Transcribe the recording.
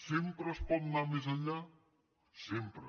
sempre es pot anar més enllà sempre